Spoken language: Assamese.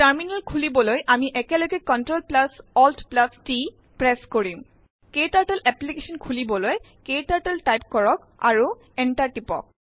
টাৰ্মিনেল খুলিবলৈ আমি এেকলেগ CTRLALTT প্ৰেছ কিৰম । ক্টাৰ্টল এপলিকেছন খুিলবৈল ক্টাৰ্টল টাইপ কৰক আৰু এন্টাৰ টিপক